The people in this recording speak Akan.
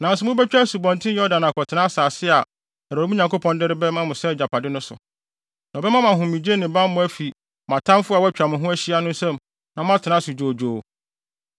Nanso mubetwa Asubɔnten Yordan akɔtena asase a Awurade, mo Nyankopɔn, de rema mo sɛ agyapade no so. Na ɔbɛma mo ahomegye ne bammɔ afi mo atamfo a wɔatwa mo ho ahyia no nsam na moatena ase dwoodwoo.